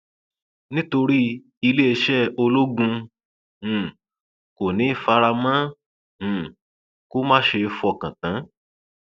nítorí iléeṣẹ ológun um kò ní í fara mọ um kó má ṣeé fọkàn tán